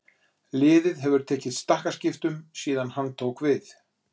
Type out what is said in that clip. Liðið hefur tekið stakkaskiptum síðan hann tók við.